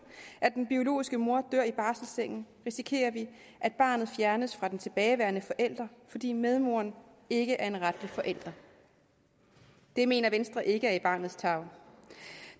at den biologiske mor dør i barselssengen risikerer vi at barnet fjernes fra den tilbageværende forælder fordi medmoren ikke er en retlig forælder det mener venstre ikke er barnets tarv